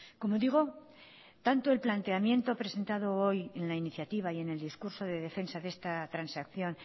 como digo tanto el planteamiento presentado hoy en la iniciativa y en el discurso de defensa de esta transacción